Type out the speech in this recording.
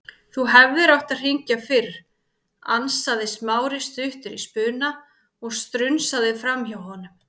Þú hefðir átt að hringja fyrr- ansaði Smári stuttur í spuna og strunsaði framhjá honum.